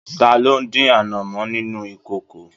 Taló dín anamọ nínú ìkòkò?